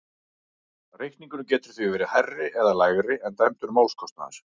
Reikningurinn getur því verið hærri eða lægri en dæmdur málskostnaður.